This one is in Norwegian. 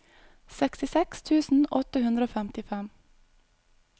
sekstifire tusen åtte hundre og femtifem